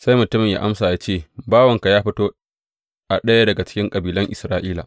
Sai mutumin yă amsa yă ce, Bawanka ya fito a ɗaya daga cikin kabilan Isra’ila.